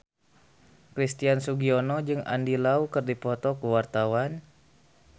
Christian Sugiono jeung Andy Lau keur dipoto ku wartawan